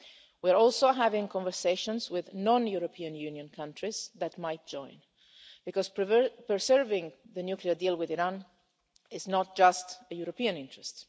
We're also having conversations with non European Union countries that might join, because preserving the nuclear deal with Iran is not just a European interest.